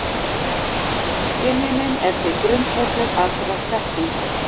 Skynjunin er því grundvöllur allrar þekkingar.